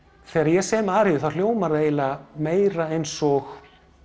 þegar ég sem aríur þá hljóma það eiginlega meira eins og